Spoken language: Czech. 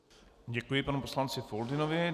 Děkuji panu poslanci Foldynovi.